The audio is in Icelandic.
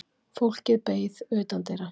Fólkið beið utandyra.